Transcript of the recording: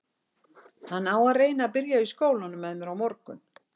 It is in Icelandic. Hann á að reyna að byrja í skólanum með mér á morgun.